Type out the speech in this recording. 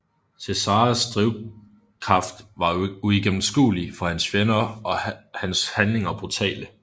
Cesares drivkraft var uigennemskuelig for hans fjender og hans handlinger brutale